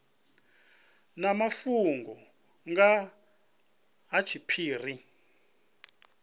na mafhungo nga ha tshiphiri